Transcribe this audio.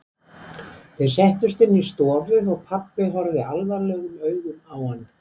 Þeir settust inn í stofu og pabbi horfði alvarlegum augum á hann.